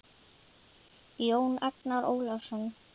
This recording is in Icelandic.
Jón Agnar Ólason